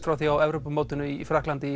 frá því á Evrópumótinu í Frakklandi